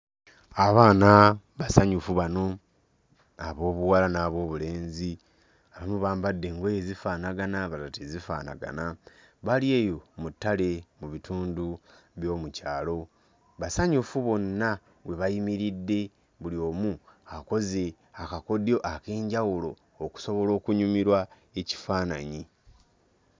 Abaana basanyufu bano ab'obuwala n'ab'obulenzi, abamu bambadde engoye zifaanagana abalala tezifaanagana bali eyo mu ttale mu bitundu by'omu kyalo. Basanyufu bonna we bayimiridde buli omu akoze akakodyo ak'enjawulo okusobola okunyumirwa ekifaananyi.